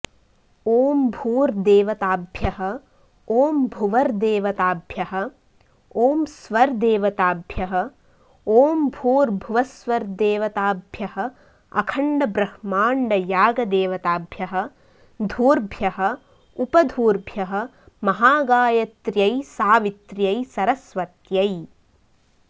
ॐ भूर्देवताभ्यः ॐ भुवर्देवताभ्यः ॐ स्वर्देवताभ्यः ॐ भूर्भुवःस्वर्देवताभ्यः अखण्डब्रह्माण्डयागदेवताभ्यः धूर्भ्यः उपधूर्भ्यः महागायत्र्यै सावित्र्यै सरस्वत्यै